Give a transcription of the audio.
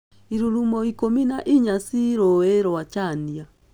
Irurumo ikũmi na inya ci rũĩ-inĩ rwa Chania.